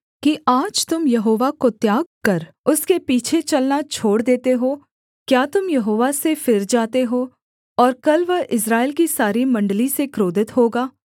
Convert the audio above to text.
कि आज तुम यहोवा को त्याग कर उसके पीछे चलना छोड़ देते हो क्या तुम यहोवा से फिर जाते हो और कल वह इस्राएल की सारी मण्डली से क्रोधित होगा